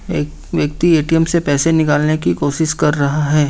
एक व्यक्ति ए_टी_एम से पैसे निकालने की कोशिश कर रहा है।